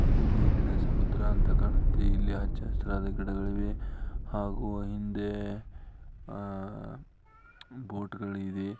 ಇದು ನೀರಿನ ಸಮುದ್ರ ಅಂತ ಕಾಣುತ್ತೆ ಇಲ್ಲಿ ಹಚ್ಚ ಹಸಿರು ಗಿಡಗಳಿವೆ ಹಾಗೂ ಹಿಂದೆ ಅಹ್ ಬೊಟ್ ಗಳಿದೆ .